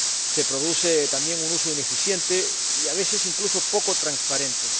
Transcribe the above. se produce también un uso ineficiente y, a veces, incluso poco transparente.